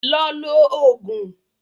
Lọ lo Ògùn!